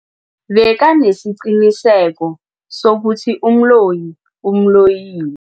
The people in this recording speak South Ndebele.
Bekanesiqiniseko sokuthi umloyi umloyile.